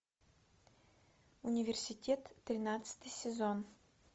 университет тринадцатый сезон